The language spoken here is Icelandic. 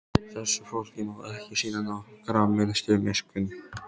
Þessu fólki má ekki sýna nokkra minnstu miskunn!